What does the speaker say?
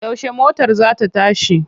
Yaushe motar za ta tashi?